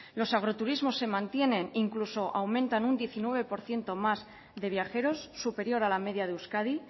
los agroturismos se mantienen incluso aumentan un diecinueve por ciento más de viajeros superior a la media de euskadi